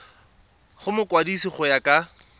go mokwadise go ya ka